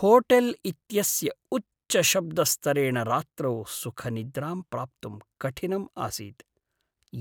hotel इत्यस्य उच्चशब्दस्तरेण रात्रौ सुखनिद्रां प्राप्तुं कठिनम् आसीत्,